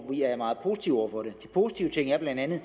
vi er meget positive over for de positive ting er bla at vi